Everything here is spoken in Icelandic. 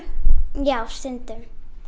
já stundum